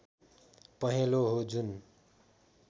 पहेँलो हो जुन